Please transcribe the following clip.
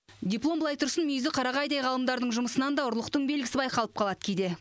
диплом былай тұрсын мүйізі қарағайдай ғалымдардың жұмысынан да ұрлықтың белгісі байқалып қалады кейде